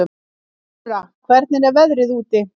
Gurra, hvernig er veðrið úti?